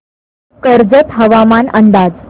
कर्जत हवामान अंदाज